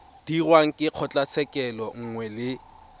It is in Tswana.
dirwang ke kgotlatshekelo nngwe le